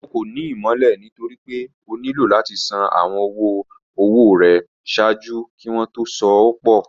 Ọ̀ kọ́ ní ìmọ̀lẹ̀ nítorí pé ọ̀ nílò láti ṣàn awọn ọ̀wọ̀-ọwọ̀ rẹ̀ ṣáàjú kí wọn tó sọ̀ pọ̀